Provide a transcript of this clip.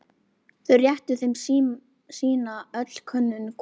Þau réttu þeim sína ölkönnuna hvorum.